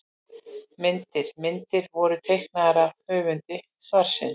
Myndir: Myndir voru teiknaðar af höfundi svarsins.